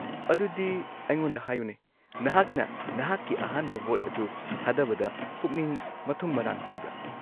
-ꯑꯗꯨꯗꯤ ꯑꯩꯉꯣꯟꯗ ꯍꯥꯏꯌꯨꯅꯦ, ꯅꯍꯥꯛꯅ ꯅꯍꯥꯛꯀꯤ ꯑꯍꯥꯟꯕ ꯚꯣꯠ ꯑꯗꯨ ꯊꯥꯗꯕꯗ ꯄꯨꯛꯅꯤꯡ ꯃꯊꯨꯝ-ꯃꯔꯥꯡ ꯍꯧꯕ꯭ꯔꯥ?